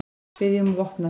Biðja um vopnahlé